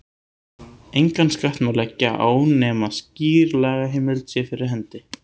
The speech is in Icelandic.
Engan skatt má leggja á nema skýr lagaheimild sé fyrir hendi.